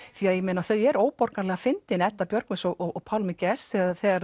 því þau eru óborganlega fyndin Edda Björgvins og Pálmi Gests þegar þegar